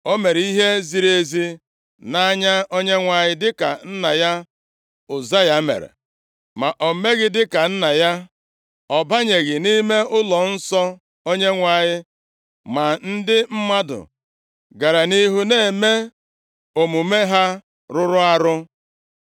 O mere ihe ziri ezi nʼanya Onyenwe anyị dịka nna ya Ụzaya mere, ma o meghị dịka nna ya, ọ banyeghị nʼime ụlọnsọ Onyenwe anyị. Ma ndị mmadụ gara nʼihu na-eme omume ha rụrụ arụ.